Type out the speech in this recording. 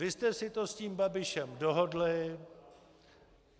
Vy jste si to s tím Babišem dohodli.